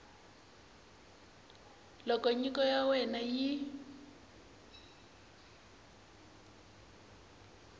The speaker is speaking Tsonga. loko nyiko ya wena yi